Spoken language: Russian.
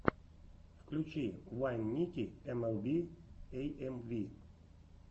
включи вайн ники эмэлби эйэмви